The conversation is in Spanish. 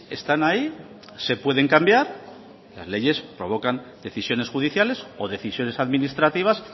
están ahí se pueden cambiar las leyes provocan decisiones judiciales o decisiones administrativas